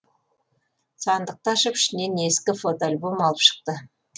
сандықты ашып ішінен ескі фотоальбомды алып шықты